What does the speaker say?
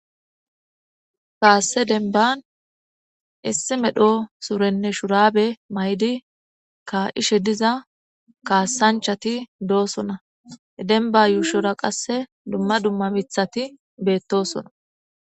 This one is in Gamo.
Kaasse denban issi medho surenne shurabe maydi ka ishe diza kaassanchati doosona denba yuushora qasse dumma dumma mithati beettosona